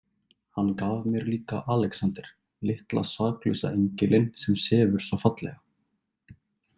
Hann gaf mér líka Alexander, litla saklausa engilinn sem sefur svo fallega.